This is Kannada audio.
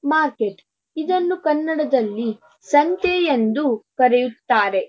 ಮಾರ್ಕೆಟ್ ಇದನ್ನು ಕನ್ನಡದಲ್ಲಿ ಸಂತೆ ಯಂದು ಕರೆಯುತ್ತಾರೆ.